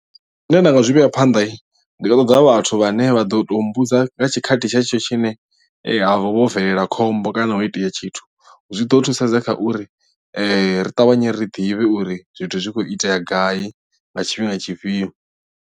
Zwine nda nga zwi vhea phanḓa ndi nga ṱoḓa vhathu vhane vha ḓo tou mmbudza nga tshikhathi tshetsho tshine havha ho bvelela khombo kana ho itea tshithu zwi ḓo thusedza kha uri ri ṱavhanye ri ḓivhe uri zwithu zwi khou itea gai nga tshifhinga tshifhio.